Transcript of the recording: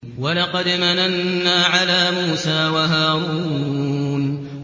وَلَقَدْ مَنَنَّا عَلَىٰ مُوسَىٰ وَهَارُونَ